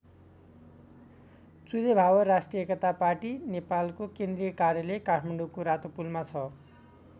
चुरेभावर राष्ट्रिय एकता पार्टी नेपालको केन्द्रीय कार्यालय काठमाडौँको रातोपुलमा छ।